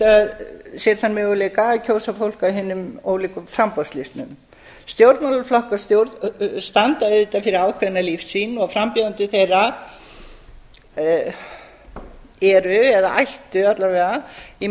sér þann möguleika að kjósa fólk af hinum ólíku framboðslistum stjórnmálaflokkar standa auðvitað fyrir ákveðna lífssýn og frambjóðendur þeirra eru eða ættu alla vega að